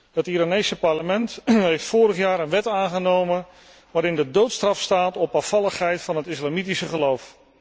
Het Iraanse parlement heeft vorig jaar een wet aangenomen waarin de doodstraf staat op afvalligheid van het islamitische geloof.